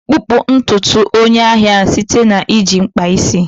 kpupu ntutu nke onye ahịa site na iji mkpa isi.